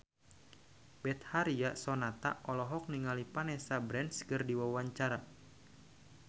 Betharia Sonata olohok ningali Vanessa Branch keur diwawancara